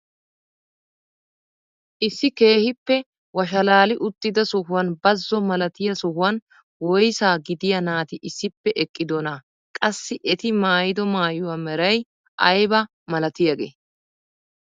Issi keehippe washalaali uttida sohuwaan bazzo malatiyaa sohuwaan woysaa gidiyaa naati issippe eqqidonaa? qassi eti maayido maayuwaa meray aybaa malatiyaagee?